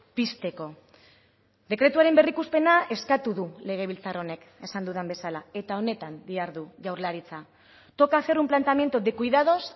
pizteko dekretuaren berrikuspena eskatu du legebiltzar honek esan dudan bezala eta honetan dihardu jaurlaritza toca hacer un planteamiento de cuidados